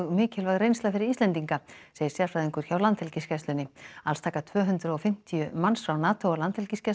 mikilvæg reynsla fyrir Íslendinga segir sérfræðingur hjá Landhelgisgæslunni alls taka tvö hundruð og fimmtíu manns frá NATO og Landhelgisgæslunni